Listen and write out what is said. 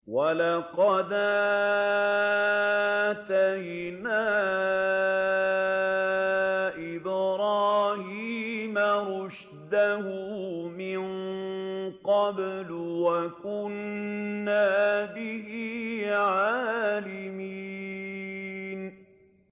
۞ وَلَقَدْ آتَيْنَا إِبْرَاهِيمَ رُشْدَهُ مِن قَبْلُ وَكُنَّا بِهِ عَالِمِينَ